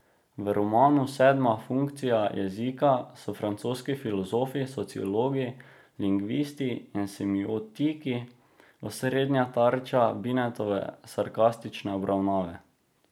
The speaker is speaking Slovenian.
V romanu Sedma funkcija jezika so francoski filozofi, sociologi, lingvisti in semiotiki osrednja tarča Binetove sarkastične obravnave.